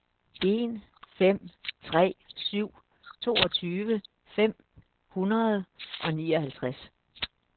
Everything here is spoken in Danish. en fem tre syv toogtyve fem hundrede og nioghalvtreds